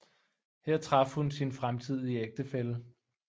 Her traf hun sin fremtidige ægtefælle